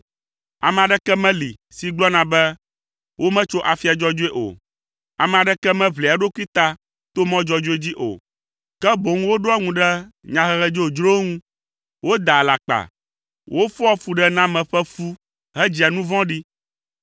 Ame aɖeke meli si gblɔna be wometso afia dzɔdzɔe o. Ame aɖeke meʋlia eɖokui ta to mɔ dzɔdzɔe dzi o, ke boŋ woɖoa ŋu ɖe nyahehe dzodzrowo ŋu. Wodaa alakpa. Wofɔa fuɖename ƒe fu hedzia nu vɔ̃ɖi.